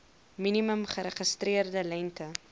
minimum geregistreerde lengte